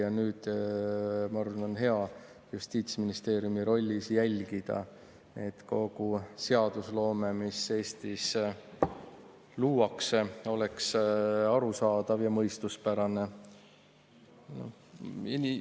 Ma arvan, et nüüd on tal hea justiitsministri rollis jälgida, et kogu Eesti seadusloome oleks arusaadav ja mõistuspärane.